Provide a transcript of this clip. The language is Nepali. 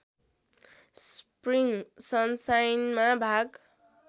स्प्रिङ सनसाइनमा भाग